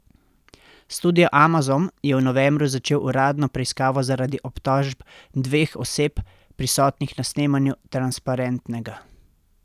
Studio Amazon je v novembru začel uradno preiskavo zaradi obtožb dveh oseb, prisotnih na snemanju Transparentnega.